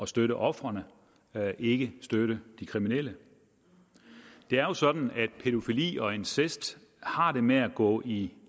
støtte ofrene ikke at støtte de kriminelle det er sådan at pædofili og incest har det med at gå i